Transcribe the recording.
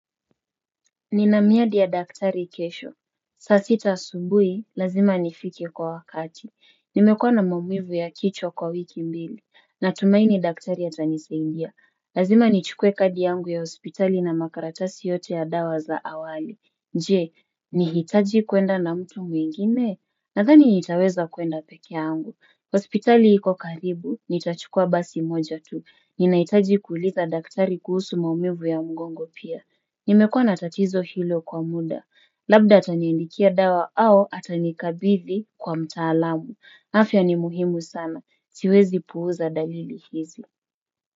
Ninamiadi ya daktari kesho. Sasita subuhi, lazima nifike kwa wakati. Nimekuwa na maumivu ya kichwa kwa wiki mbili. Natumaini daktari atanisaidia. Lazima nichukue kadi yangu ya hospitali na makaratasi yote ya dawa za awali. Jee, nihitaji kuenda na mtu mwingine? Nathani nitaweza kuenda peke yangu. hospitali iko karibu, nitachukua basi moja tu. Ninahitaji kuuliza daktari kuhusu maumivu ya mgongo pia. Nimekuwa natatizo hilo kwa muda. Labda ataiandikia dawa au atanikabidi kwa mtaalamu. Afya ni muhimu sana. Siwezi puuza dalili hizi.